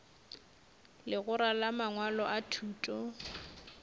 legora la mangwalo a thuto